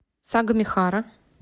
сагамихара